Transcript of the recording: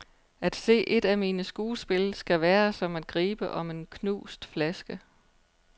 At se et af mine skuespil skal være som at gribe om en knust flaske.